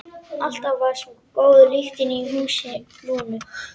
Alltaf svo góð lyktin í húsi Lúnu.